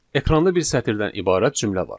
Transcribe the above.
Ekranda bir sətirdən ibarət cümlə var.